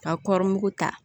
Ka kɔrɔmu ta